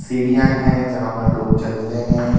सीढ़ियां है जहां पर लोग चलते हैं.